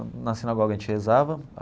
Na sinagoga, a gente rezava.